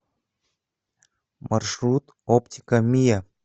маршрут оптика миа